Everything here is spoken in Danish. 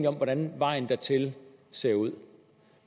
om hvordan vejen dertil ser ud